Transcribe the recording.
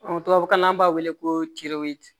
tubabukan na an b'a wele ko